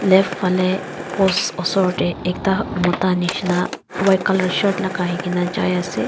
left fele post usor teh ekta mota misna white colour shirt lagai kina jai ase.